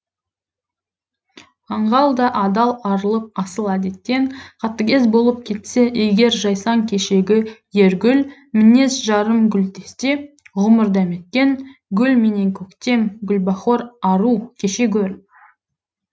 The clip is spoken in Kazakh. аңғал да адал арылып асыл әдеттен қатыгез болып кетсе егер жайсаң кешегі ер гүл мінез жарым гүлдесте ғұмыр дәметкен гүл менен көктем гүлбахор ару кеше гөр